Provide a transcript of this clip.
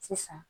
Sisan